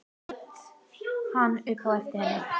át hann upp eftir henni.